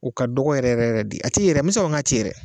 O ka dɔgɔ yɛrɛ yɛrɛ de a te ye yɛrɛ n me se k'a fɔ a te yen yɛrɛ